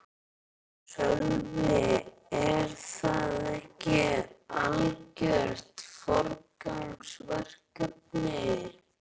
Sölvi: Er það ekki algjört forgangsverkefni?